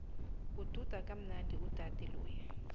ududa kamnandi udade loya